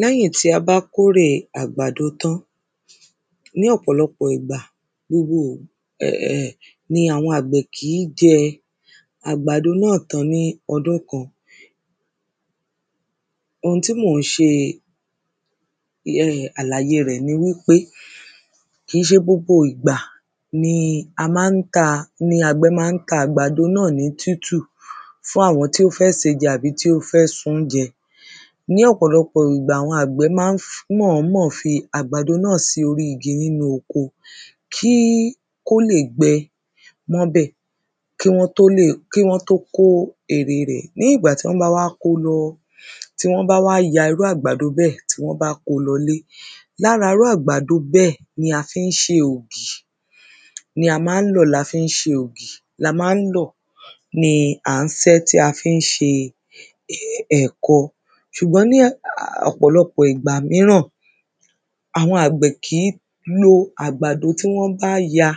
lẹ́yìn tí a bá kórèe àgbàdo tán, ní ọ̀pọ̀lọpọ̀ ìgbà ni àwọn àgbẹ̀ kìí jẹ àgbàdo náà tán ní ọdún kan. ohun tí mó ńṣe àlàye rẹ̀ ni wípé, kìí ṣe gbogbo ìgbà ni a mán ta, ni àgbẹ́ maá ta àgbàdo náà ní títù fún àwọn tí ó fẹ́ sèé jẹ tàbí tí ó fẹ́ sun-ún jẹ. ní ọ̀pọ̀lọpọ̀ ìgbà, àwọn àgbẹ́ ma ń mọ̀ọ́mọ̀ fi àgbàdo náà sí orí igi nínú oko, kí, kó lè gbẹ mọ́bẹ̀ kí wọ́n tó lè, kí wọ́n tó kó ère rẹ̀. ní ìgbà tán báwá kó lọ, tí wọ́n báwá ya irú àgbàdo bẹ́ẹ̀ tí wọ́n bá ko lọlé, lára irú àgbàdo bẹ́ẹ̀ ni a fí ń ṣe ògì. ní a mán lọ̀ la fín ṣe ògì, la mán lọ̀, ni à ń sẹ́ tá fín ṣe ẹ̀gọ. ṣùgbọ́n ní ọ̀pọ̀lọpọ̀ ìgbà míràn, àwọn àgbẹ̀ kìí lo àgbàdo tí wọ́n bá ya,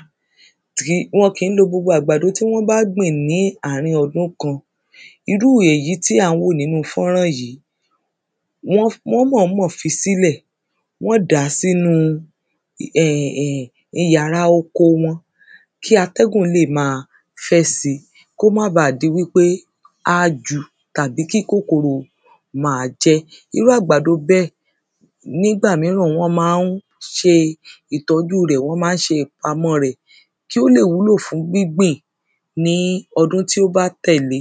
wọn kìí lo gbogbo àgbàdo tí wọ́n bá gbìn ní àárín ọdún kan. irú èyí tí a ń wò nínu fọ́rán yìí, wọ̀n mọ̀ọ́mọ̀ fí sílẹ̀, wọ́n dàá sínúu yàrá oko wọn kí atẹ́gùn lè máa fẹ́ si, kó máa baà di wípé a ju, tàbí kí kókòrò máa jẹ́. irú àgbàdo bẹ́ẹ̀, nígbà míràn wọ́n ma ń ṣe ìtọ́júu rẹ̀, wọ́n ma ń ṣe ìpamọ́ọ rẹ̀ kí ó lè wúlò fún gbígbìn ní ọdún tí ó bá tẹ̀le.